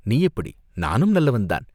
"நீ எப்படி?" "நானும் நல்லவன்தான்.